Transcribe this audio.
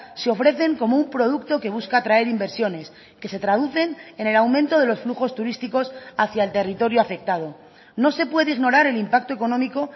se ofrecen como un producto que busca atraer inversiones que se traducen en el aumento de los flujos turísticos hacía el territorio afectado no se puede ignorar el impacto económico